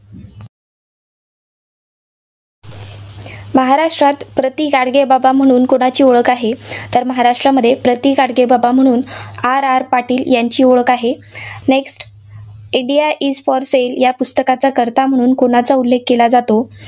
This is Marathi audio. महाराष्ट्रात प्रतिगाडगेबाबा म्हणून कुणाची ओळख आहे? तर महाराष्ट्रामध्ये प्रतिगाडगेबाबा म्हणून RR पाटील यांची ओळख आहे. next India is for sale या पुस्तकाचा कर्ता म्हणून कुणाचा उल्लेख केला जातो?